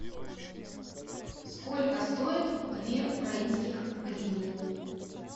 сколько стоит две украинских гривны